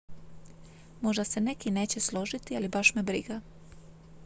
"""možda se neki neće složiti ali baš me briga.